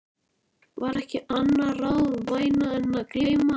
var ekki annað ráð vænna en að gleyma.